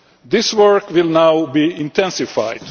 This work will now be intensified.